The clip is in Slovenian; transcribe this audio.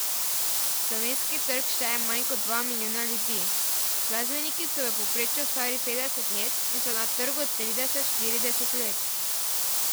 Slovenski trg šteje manj kot dva milijona ljudi, glasbeniki so v povprečju stari petdeset let in so na trgu trideset, štirideset let.